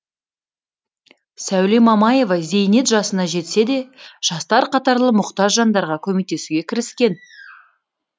сәуле мамаева зейнет жасына жетсе де жастар қатарлы мұқтаж жандарға көмектесуге кіріскен